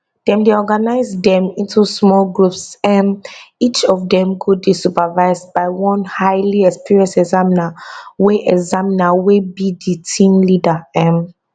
dem dey organise dem into small groups um each of dem go dey supervised by one highly experienced examiner wey examiner wey be di team leader um